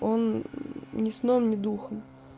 он ни сном ни духом